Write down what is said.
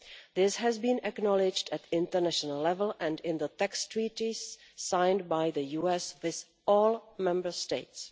This has been acknowledged at international level and in the tax treaties signed by the US with all Member States.